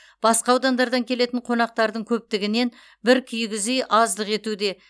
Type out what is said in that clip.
басқа аудандардан келетін қонақтардың көптігінен бір кигіз үй аздық етуде